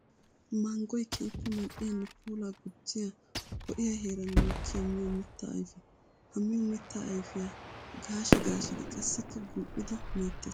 Manggoy keehippe mali'iyanne puula gujjiya ho'iya heeran mokkiya miyo mitta ayfe. Ha miyo mitta ayfiya gaashshi gaashshiddi qassikka gumi'iddi meetes.